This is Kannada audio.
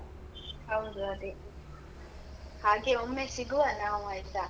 ಹೌದು, ಅದೇ. ಹಾಗೇ ಒಮ್ಮೆ ಸಿಗುವ ನಾವು ಆಯ್ತಾ?